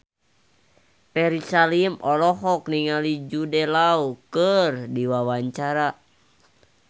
Ferry Salim olohok ningali Jude Law keur diwawancara